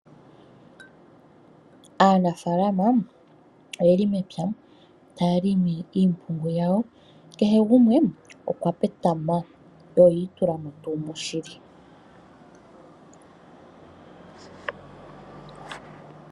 Aanafaalma oye li mepya taya limi iimpungu yawo. Kehe gumwe okwa petama yo oyi itula mo tuu moshili.